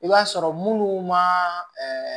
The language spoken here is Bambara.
I b'a sɔrɔ munnu ma